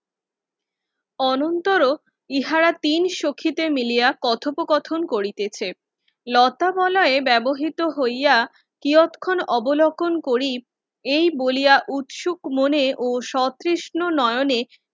অনন্তর উহারা তিন সখীতে মিলিয়া কথোপ কথন করিতেছে লতা বলায় বেবহৃত হইয়া কিয়ৎক্ষণ অবলক্ষন করিব এই বলিয়া উৎসুক মনে ও সত্রেসন নয়নে